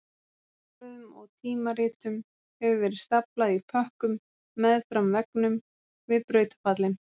Dagblöðum og tímaritum hefur verið staflað í pökkum meðfram veggnum við brautarpallinn